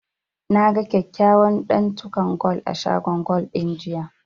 Na ga kyakkyawan ɗantukan gwal a shagon gwal ɗin, jiya.